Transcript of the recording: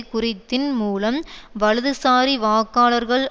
குறைத்தின் மூலம் வலதுசாரி வாக்காளர்கள்